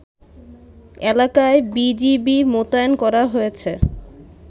এলাকায় বিজিবি মোতায়েন করা হয়েছে